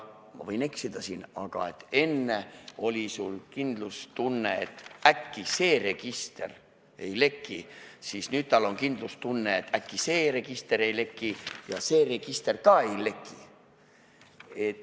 Ma võin eksida, aga kui enne sul oli kindlustunne, et äkki see register ei leki, siis nüüd on kindlustunne, et äkki see register ei leki ja see register ka ei leki.